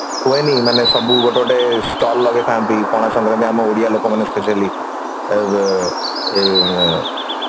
ହୁଏନି ମାନେ ସବୁ ଗୋଟେ ଗୋଟେ stall ଲଗେଇଥାନ୍ତି ପଣାସଙ୍କ୍ରାନ୍ତି ଆମ ଓଡିଆ ଲୋକମାନେ specially ଅ ବୋ ଏଇ